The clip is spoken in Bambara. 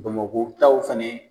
Bamaktaw fɛnɛ